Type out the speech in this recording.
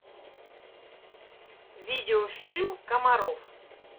видеофильм комаров